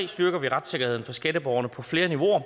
styrker vi retssikkerheden for skatteborgerne på flere niveauer og